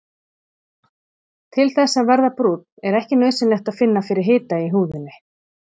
Til þess að verða brúnn er ekki nauðsynlegt að finna fyrir hita í húðinni.